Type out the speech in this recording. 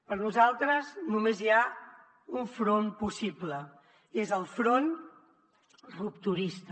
per nosaltres només hi ha un front possible és el front rupturista